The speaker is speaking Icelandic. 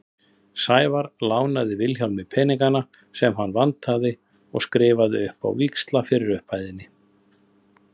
Sævar lánaði Vilhjálmi peningana sem hann vantaði og hann skrifaði upp á víxla fyrir upphæðinni.